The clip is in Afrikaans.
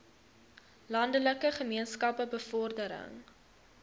landelike gemeenskappe bevordering